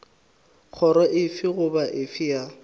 kgoro efe goba efe ya